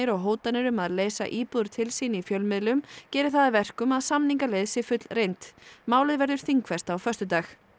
og hótanir um að leysa íbúðir til sín í fjölmiðlum geri það að verkum að samningaleið sé fullreynd málið verður þingfest á föstudag